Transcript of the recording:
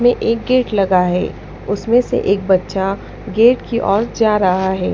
में एक गेट लगा है उसमें से एक बच्चा गेट की ओर जा रहा है।